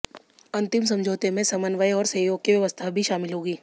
अंतरिम समझौते में समन्वय और सहयोग की व्यवस्था भी शामिल होगी